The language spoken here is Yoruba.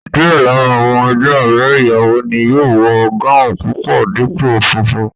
Díẹ̀ lára àwọn ẹgbẹ́ ọ̀rẹ́ ìyàwó ni yóò wọ gáùùn pupa dípò funfun